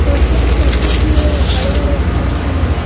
और कुछ पब्लिक भी है बड़े-बड़े अक्षरों में मुझ--